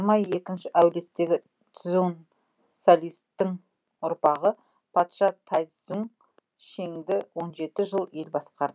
әулеттегі цзуң салистің ұрпағы патша тайцзуң шеңді жыл ел басқарды